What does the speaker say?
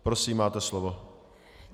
Prosím, máte slovo.